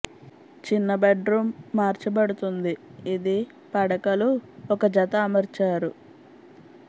చిన్న bedroom మార్చబడుతుంది ఇది పడకలు ఒక జత అమర్చారు